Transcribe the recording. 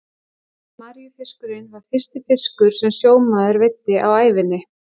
Maríufiskurinn var fyrsti fiskur sem sjómaður veiddi á ævinni.